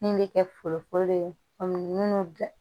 Min bɛ kɛ forokolo ye kɔmi minnu bɛ